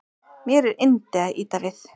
Mér er yndi að ýta við